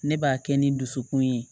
Ne b'a kɛ ni dusukun ye